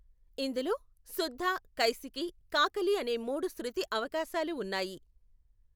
ఇందులో శుద్ధ, కైశికి, కాకాలీ అనే మూడు శృతి అవకాశాలు ఉన్నాయి.